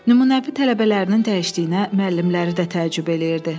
Nümunəvi tələbələrinin dəyişdiyinə müəllimləri də təəccüb eləyirdi.